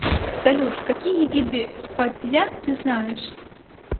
салют какие виды фацзя ты знаешь